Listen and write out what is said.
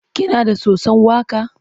Kina da soson wa ka?